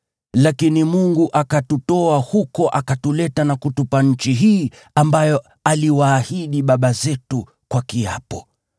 Lakini Mungu akatutoa huko, akatuleta na kutupa nchi hii ambayo aliwaahidi baba zetu kwa kiapo.